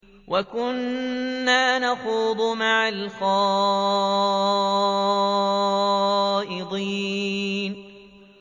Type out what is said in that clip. وَكُنَّا نَخُوضُ مَعَ الْخَائِضِينَ